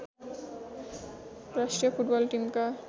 राष्ट्रिय फुटबल टिमका